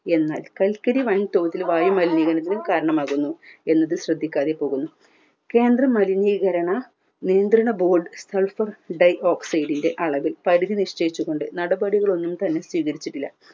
എന്നാൽ കൽക്കരി വൻ തോതിൽ വായുമലിനീകരണത്തിനും കാരണമാകുന്നു എന്നതും ശ്രെദ്ധിക്കാതെ പോകുന്നു കേന്ദ്രം മലിനീകരണ നിയന്ത്ര board sulphur dioxide ൻറെ അളവിൽ പരിധി നിശ്ചയിച്ചുകൊണ്ട് നടപടികളൊന്നും തന്നെ സ്വീകരിച്ചിട്ടില്ല